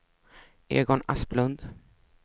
Egon Asplund